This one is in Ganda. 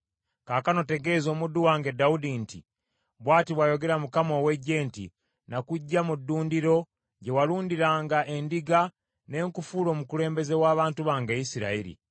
“Kaakano tegeeza omuddu wange Dawudi nti, ‘Bw’ati bw’ayogera Mukama , ow’Eggye nti, “Nakuggya mu ddundiro gye walundiranga endiga ne nkufuula omukulembeze w’abantu bange Isirayiri.